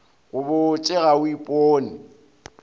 go botše ga o ipone